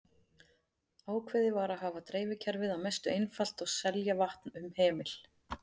Ákveðið var að hafa dreifikerfið að mestu einfalt og selja vatn um hemil.